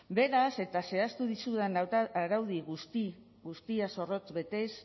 beraz eta zehaztu dizudan araudi guzti guztia zorrotz betez